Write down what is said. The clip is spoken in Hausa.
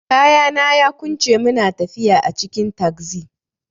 Kayana yaƙunce muna tafiya a cikin tagzi.